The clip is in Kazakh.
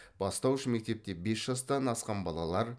бастауыш мектепте бес жастан асқан балалар